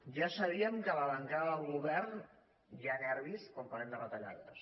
ja sabíem que a la bancada del govern hi ha nervis quan parlem de retallades